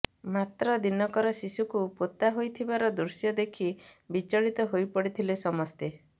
ମାତ୍ର ଦିନକର ଶିଶୁକୁ ପୋତା ହୋଇଥିବାର ଦୃଶ୍ୟ ଦେଖି ବିଚଳିତ ହୋଇପଡିଥିଲେ ସମସ୍ତେ